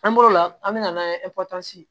An bɔr'o la an bɛ na n'a ye kɔtagasi